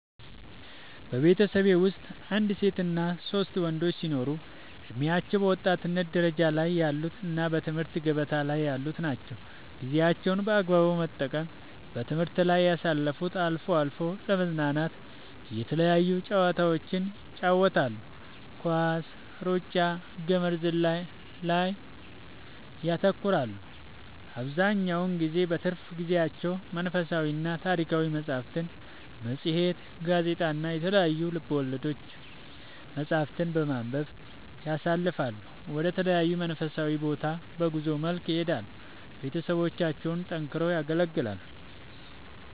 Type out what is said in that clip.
በቤተሠቤ ወስጥ አንድ ሴትና ሶስት ወንዶች ሲኖሩ እድሜያቸው በወጣትነት ደረጃ ላይ ያሉ እና በትምህርት ገበታ ላይ ያሉ ናቸው ጌዜያቸውን በአግባቡ በመጠቀም በትምህርት ላይ ያሳልፋሉ አልፎ አልፎ ለመዝናናት የተለያዩ ጨዋታዎችን ይጫወታሉ ኳስ ,እሩጫ ,ገመድ ዝላይ ላይ ያተኩራሉ አብዛኛውን ጊዜ በትርፍ ጊዜያቸው መንፈሳዊና ታሪካዊ መፅሐፍትን ,መፅሄት ,ጋዜጣ እና የተለያዩ ልቦለድ መፅሐፍትን በማንበብ ያሣልፈሉ ወደ ተለያዩ መንፈሳዊ ቦታ በጉዞ መልክ ይሄዳሉ ቤተሠቦቻቸውን ጠንክረው ያገለግላሉ